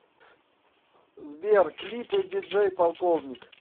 сбер клипы диджей полковник